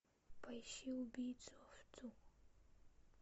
поищи убийцу овцу